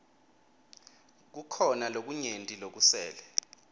kukhona lokunyenti lokusele